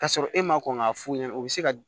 K'a sɔrɔ e ma kɔn k'a f'u ɲɛna u bɛ se ka